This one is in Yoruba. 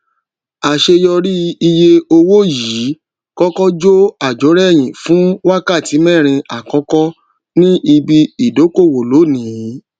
àṣẹ yọrí iye owó yìí kọkọ jó àjórẹyìn fún wákàtí mẹrin àkọkọ ni ibi ìdókòwò lónìí